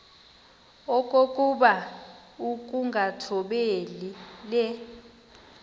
okokuba ukungathobeli le